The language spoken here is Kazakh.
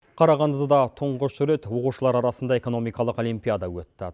қарағандыда тұңғыш рет оқушылар арасында экономикалық олимпиада өтті